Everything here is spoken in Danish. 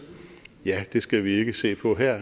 ja det skal vi ikke se på her